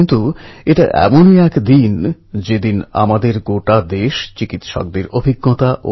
কিন্তু নূতন নূতন বিষয় খোঁজার ইচ্ছা চালিয়ে যেতে হবে